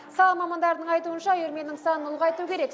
сала мамандарының айтуынша үйірменің санын ұлғайту керек